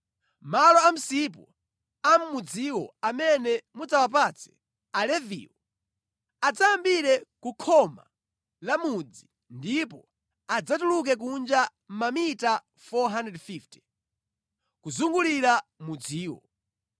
“Malo a msipu a mudziwo amene mudzawapatse Aleviwo, adzayambire ku khoma la mudzi ndipo adzatuluke kunja mamita 450, kuzungulira mudziwo.